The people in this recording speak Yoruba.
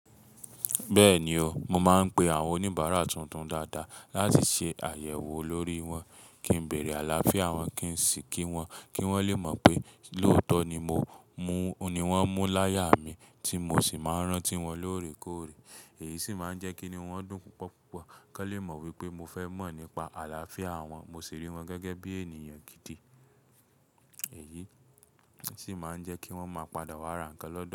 Bẹ́ẹ̀ni o, mo máa ń pe àwọn oníbàárà tuntun dáadáa láti ṣe àyẹ̀wò lórí wọn, kí n bẹ̀rẹ̀ àlàáfíà wọn kí n sì kí wọn kí wọ́n lè mọ̀ pé lóòótọ́ ni wọ́n mú láyà mi tí mo sì máa ń rántí wọn lóòrèkóòrè. Èyí sì máa ń jẹ́ kí ni wọ́n dùn púpọ̀púpọ̀ kan lè mọ̀ wípé mo fẹ́ mọ̀ nípa àlàáfíà wọn, mo sì rí wọn gẹ́gẹ́ bí ènìyàn gidi. Èyí sì máa ń jẹ́ kí wọ́n ń máa padà wá ra ǹkan.